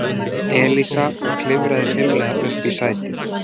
Elísa og klifraði fimlega upp í sætið.